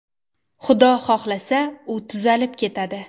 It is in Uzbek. Xudo xohlasa, u tuzalib ketadi.